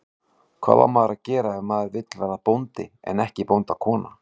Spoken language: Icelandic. Hvað á maður að gera ef maður vill verða bóndi en ekki bóndakona?